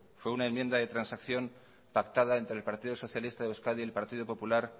fue una enmienda de transacción pactada entre el partido socialista de euskadi el partido popular